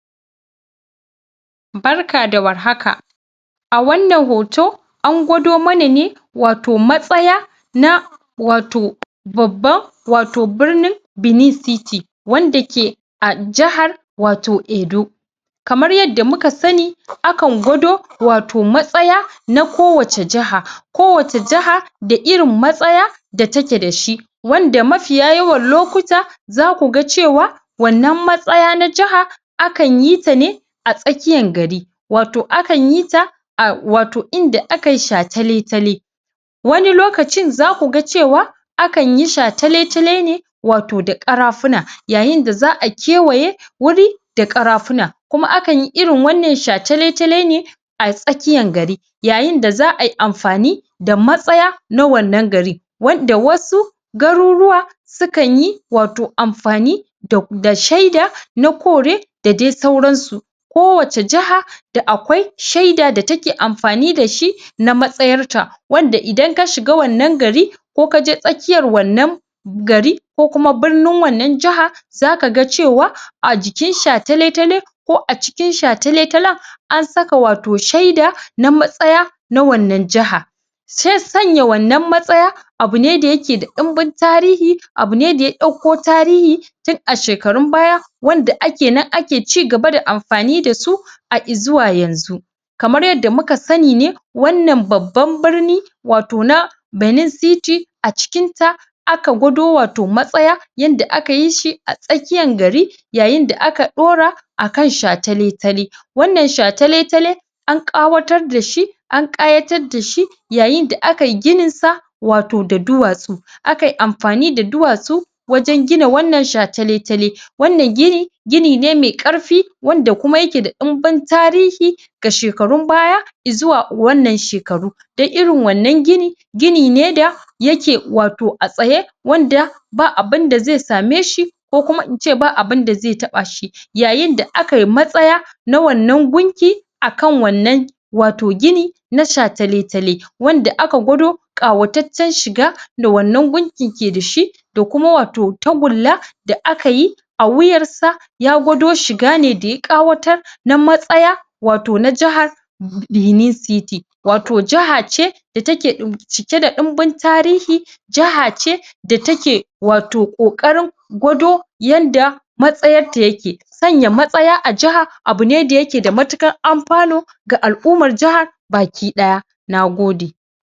Barka da warhaka a wannan hoto angwado mana ne wato wato matsaya na wato babban wato birnin Benin City wanda ke a jihar wato Edo kamar yadda muka sani akan gwado wato matsaya na kowace jaha ko wace jaha da irin matsaya da take da shi wanda mafiya yawan lokuta zaku ga cewa wannan matsaya na jaha akan yi ta ne atsakiyan gari wato akan yita a wato inda akai shatale-tale wani lokacin zakuga cewa akanyi shatale-tale ne wato da karafuna yayin da za'a kewaye wuri da karafuna kuma akan yi irin wannan shatale-tale ne a tsakiyan gari yayin da da za'ayi amfani da matsaya na wannan gari wanda wasu garuruwa sukan yi wato amfani da sheda na kore da dai sauransu ko wace jaha da akwai sheda da take amfani da shi na mtsayar ta wanda idan ka shiga wannan gari ko kaje tsakiyar wannan gari ko kuma birnin wannan jaha zaka cewa a jikin shatale-tale ko acikin shatale-talen an saka wato sheda na matsaya na wannan jaha se sanya wannan matsaya abune dayake da dumbin tarihi abune daya dauko tarihi tun a shekarun baya wanda ake nan ake cigaba da amfani da su har izuwa yanzu kamar yadda muka sani ne wannan babbar birni wato na Benin City acikin ta aka gwado wato matsaya yadda akayi shi a tsakiyan gari yayin da aka daura akan shatale-tale wannan shatale-tale an kawatar dashi an kayatar da shi yayin da akai gininsa wato da duwatsu a kai amfani da duwatsu wajen gina wannan shatale-tale wannan gini gini ne mai karfi wanda kuma yake da dumbin tarihi ga shekarun baya izuwa wannan shekaru dan irin wannan gini gini ne da yake wato ya tsaye wanda ba abun da ze same shi ko kuma ince ba abun da ze tabashi yayin da akai matsaya na wannan gunki akan wannan wato gini na shatale-tale wanda aka gwado kayataccen shiga da wannan gunki ke dashi da kuma wato tagulla da akayi a wuyarsa ya gwado shiga ne da ya kawatar na matsaya wato na jahar Beni City wato jaha ce da take cike da dimbin tarihi jaha ce take wato kokarin gwado yadda matsayar ta yake sanya matsaya a jiha abune dayake da matukar amfano ga al-ummar jaha baki daya nagode